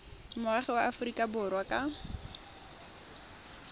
moagi wa aforika borwa ka